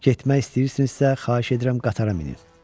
Getmək istəyirsinizsə, xahiş edirəm qatara minin.